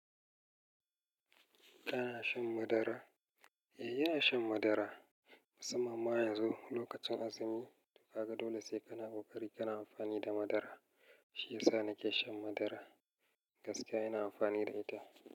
Kana shan madara? Eh, ina shan madara. Musamman ma yanzu lokacin azumi. Ka ga dole sai kana ƙoƙari kana amfani da madara. Shiyasa nake shan madara. Gaskiya ina amfani da ita.